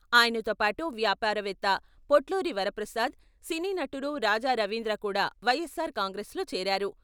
ఆయనతోపాటు వ్యాపారవేత్త పొట్లూరి వరప్రసాద్, సినీ నటుడు రాజా రవీంద్ర కూడా వైఎస్సార్ కాంగ్రెస్ లో చేరారు.